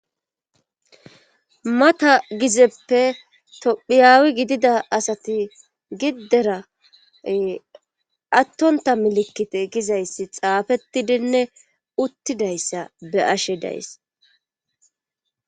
Hata gizeppe tophiyaawi gidida asati giddera attonta milikite gizayssi xaafetidinne uttidayssa be ashe days